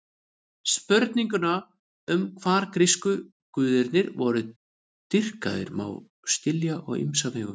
Spurninguna um hvar grísku guðirnir voru dýrkaðir má skilja á ýmsa vegu.